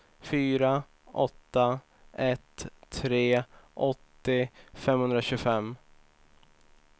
fyra åtta ett tre åttio femhundratjugofem